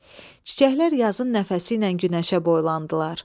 Çiçəklər yazın nəfəsi ilə günəşə boylandılar.